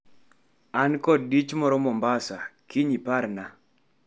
An kod dich moro Mombasa kiny, iparna.